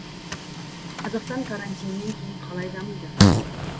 қазақстан карантиннен кейін қалай дамиды